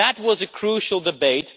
That was a crucial debate.